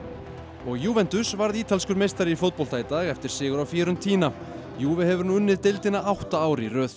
og varð ítalskur meistari í fótbolta í dag eftir sigur á Fiorentina juve hefur nú unnið deildina átta ár í röð